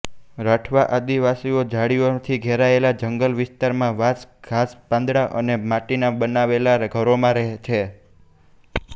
રાઠવા આદિવાસીઓ ઝાડીઓથી ઘેરાયેલા જંગલ વિસ્તારમાં વાંસ ઘાસપાંદડાં અને માટીના બનાવેલાાં ઘરોમાં રહે છે